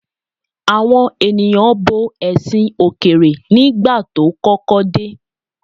Àwọn ènìyàn bo ẹ̀sìn òkèèrè nígbà tó kọ́kọ́ dé.